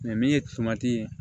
min ye ye